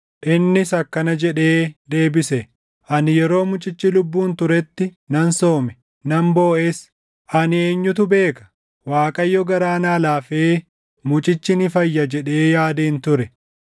Innis akkana jedhee deebise; “Ani yeroo mucichi lubbuun turetti nan soome; nan booʼes. Ani, ‘Eenyutu beeka? Waaqayyo garaa naa laafee mucichi ni fayya’ jedhee yaadeen ture.